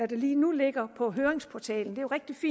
der lige nu ligger på høringsportalen det